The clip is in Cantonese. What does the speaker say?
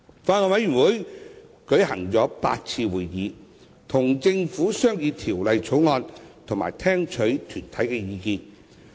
法案委員會曾舉行8次會議，跟政府商議《條例草案》和聽取團體的意見。